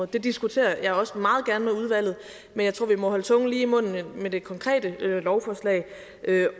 det diskuterer jeg også meget gerne med udvalget men jeg tror vi må holde tungen lige i munden med det konkrete lovforslag